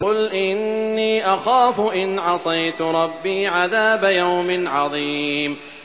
قُلْ إِنِّي أَخَافُ إِنْ عَصَيْتُ رَبِّي عَذَابَ يَوْمٍ عَظِيمٍ